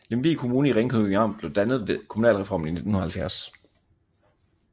Lemvig Kommune i Ringkøbing Amt blev dannet ved kommunalreformen i 1970